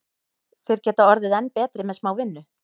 Þeir geta orðið enn betri með smá vinnu.